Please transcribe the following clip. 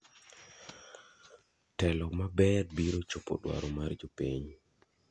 Telo maber biro chopo duaro mar jopiny.